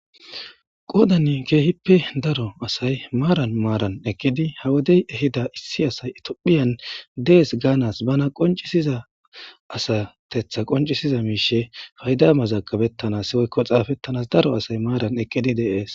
Qoodan kehipe daro asay maaran maaran eqidi ha wode ehida issi asi Ethiopian Des gaanas bana qonchisiza asateta qonchisiza miishe payda mazagabetanasi woyko xaafetanas daro asay maaran eqidi de'es.